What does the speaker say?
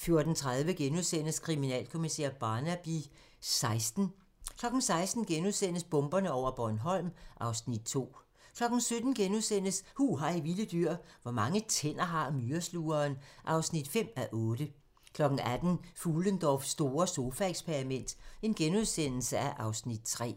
14:30: Kriminalkommissær Barnaby XVI * 16:00: Bomberne over Bornholm (Afs. 2)* 17:00: Hu hej vilde dyr: Hvor mange tænder har myreslugeren? (5:8)* 18:00: Fuhlendorffs store sofaeksperiment (Afs. 3)*